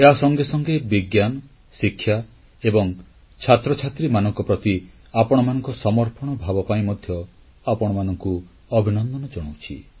ଏହା ସଙ୍ଗେ ସଙ୍ଗେ ବିଜ୍ଞାନ ଶିକ୍ଷା ଏବଂ ଛାତ୍ରଛାତ୍ରୀମାନଙ୍କ ପ୍ରତି ଆପଣମାନଙ୍କ ସମର୍ପଣ ଭାବ ପାଇଁ ମଧ୍ୟ ଆପଣମାନଙ୍କୁ ଅଭିନନ୍ଦନ ଜଣାଉଛି